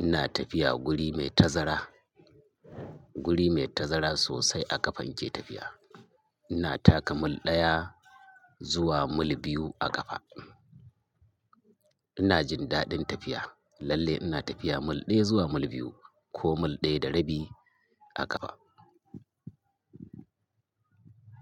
Ina tafiya guri mai tazara, guri mai tazara sosai a ƙafa ni ke tafiya. Ina taka mil ɗaya zuwa mil biyu a ƙafa. Ina jin daɗin tafiya. Lallai ina tafiya mil ɗaya zuwa mil biyu ko mil ɗaya da rabi a ƙafa.